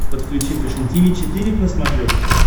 подключи фэшен тиви четыре к на смотрешке